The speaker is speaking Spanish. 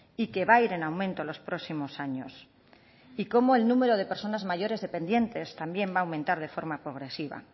y que va a ir en aumento los próximos años y cómo el número de personas mayores dependientes también va a aumentar de forma progresiva